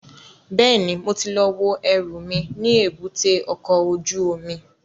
Bẹ́ẹ̀ni, mo ti lọ wo ẹrù mi ní èbúté ọkọ̀ ojú omi